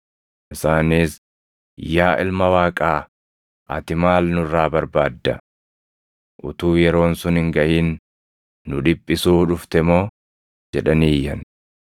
Isaanis, “Yaa Ilma Waaqaa, ati maal nurraa barbaadda? Utuu yeroon sun hin gaʼin nu dhiphisuu dhufte moo?” jedhanii iyyan.